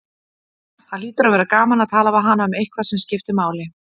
Það hlýtur að vera gaman að tala við hana um eitthvað sem skiptir máli.